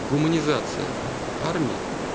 гуманизация армии